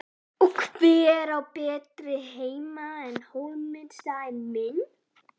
Og hver á betri heima en Hólminn staðinn minn.